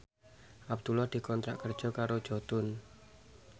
Abdullah dikontrak kerja karo Jotun